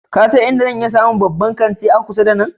Ka san inda zan iya samun babban kanti a kusa da nan?